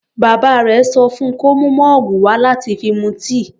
Bàbá rẹ̀ sọ fún kó mú mọ́ọ̀gù wà láti fi mu tíì.